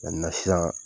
sisan